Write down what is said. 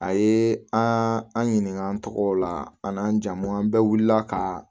A ye an an ɲininka an tɔgɔ la an n'an jamu an bɛɛ wulila ka